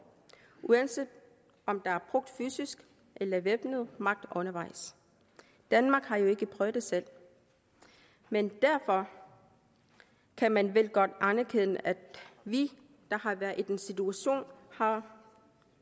uanset om der er brugt fysisk eller væbnet magt undervejs danmark har jo ikke prøvet det selv men derfor kan man vel godt anerkende at vi der har været i den situation har